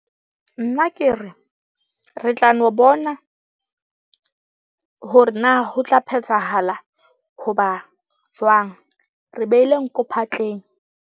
Nna ke re, re tla no bona hore na ho tla phethahala hoba jwang. Re behile nko phatleng.